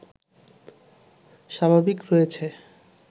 স্বাভাবিক রয়েছে